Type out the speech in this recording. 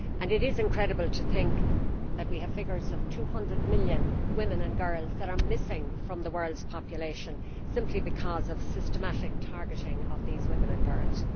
It is incredible to think that we have figures of 200 million women and girls that are missing from the world's population simply because of systematic targeting of women and girls.